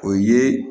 O ye